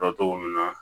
Dɔn cogo min na